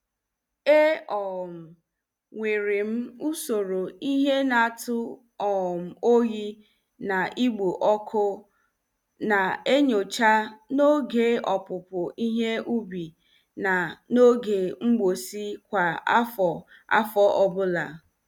E um nwerem usoro ihe na- atụ um oyi na igbo ọkụ na enyocha n' oge opupu ihe ubi na n' oge mgbụsị kwa afọ afọ ọbụla.